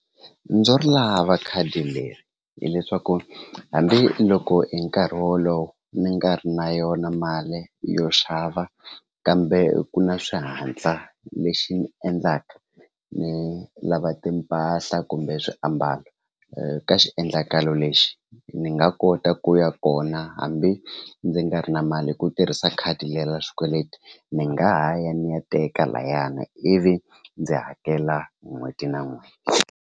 Ndzo ri lava khadi leri hileswaku hambiloko hi nkarhi wolowo mi nga ri na yona mali yo xava kambe ku na swihatla lexi endlaka ni lava timpahla kumbe swiambalo ka xiendlakalo lexi ni nga kota ku ya kona hambi ndzi nga ri na mali hi ku tirhisa khadi leri ra xikweleti ni nga ha ya ni ya teka layani ivi ndzi hakela n'hweti na n'hweti.